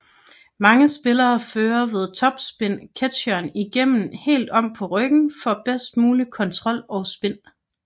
Mange spillere fører ved topspin ketsjeren igennem helt om på ryggen for bedst mulig kontrol og spin